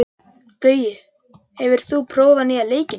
Gaui, hefur þú prófað nýja leikinn?